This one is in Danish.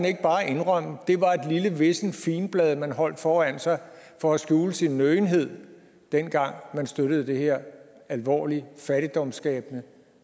ikke bare indrømme at det var et lille vissent figenblad man holdt foran sig for at skjule sin nøgenhed dengang man støttede det her alvorlig fattigdomsskabende